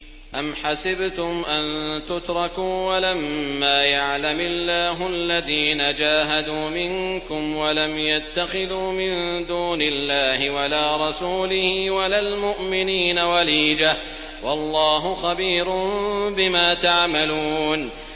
أَمْ حَسِبْتُمْ أَن تُتْرَكُوا وَلَمَّا يَعْلَمِ اللَّهُ الَّذِينَ جَاهَدُوا مِنكُمْ وَلَمْ يَتَّخِذُوا مِن دُونِ اللَّهِ وَلَا رَسُولِهِ وَلَا الْمُؤْمِنِينَ وَلِيجَةً ۚ وَاللَّهُ خَبِيرٌ بِمَا تَعْمَلُونَ